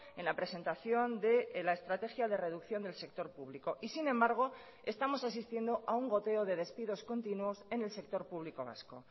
en la presentación de la estrategia de reducción del sector público y sin embargo estamos asistiendo a un goteo de despidos continuos en el sector público vasco